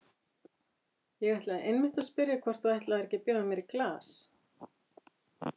Ég ætlaði einmitt að spyrja hvort þú ætlaðir ekki að bjóða mér í glas.